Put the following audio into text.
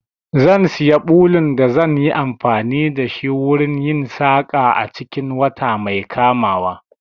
Zan siya ɓulun da zan yi amfani da shi wurin yin saƙa a cikin wata mai kamawa.